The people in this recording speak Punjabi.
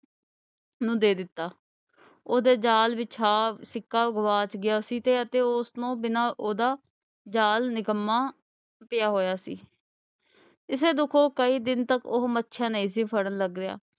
ਨੂੰ ਦੇ ਦਿੱਤਾ। ਉਹਦੇ ਜਾਲ ਵਿਛਾ ਸਿੱਕਾ ਗੁਆਚ ਗਿਆ ਸੀ ਤੇ ਅਤੇ ਉਸ ਨੂੰ ਬਿਨ੍ਹਾਂ ਉਹਦਾ ਜਾਲ ਨਿਕੰਮਾ ਪਿਆ ਹੋਇਆ ਸੀ ਇਸੇ ਦੁੱਖੋਂ ਉਹ ਕਈ ਦਿਨ ਤੋਂ ਉਹ ਮੱਛੀਆਂ ਨਹੀਂ ਸੀ ਫੜਨ ਲੱਗਿਆ।